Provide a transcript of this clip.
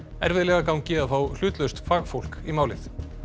erfiðlega gangi að fá hlutlaust fagfólk í málið